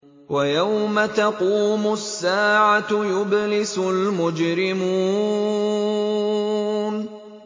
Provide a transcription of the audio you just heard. وَيَوْمَ تَقُومُ السَّاعَةُ يُبْلِسُ الْمُجْرِمُونَ